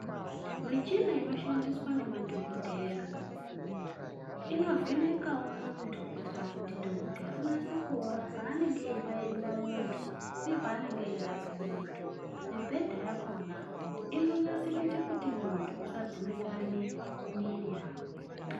Michina inoshandiswa ngemadhokodheya inovhenekawo mundu kuitira kuti dhokodheya unase kuona panenge eibairira muntu uye panenge eirape muntu mubhedha yakona inonase kuite kuti muntu usadzimbika muiri yako